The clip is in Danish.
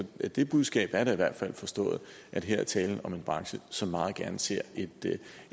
det budskab er da i hvert fald forstået at her er tale om en branche som meget gerne ser